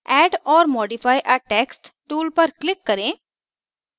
add or modify a text tool पर click करें